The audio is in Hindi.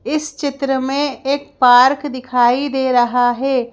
इस चित्र में एक पार्क दिखाई दे रहा है।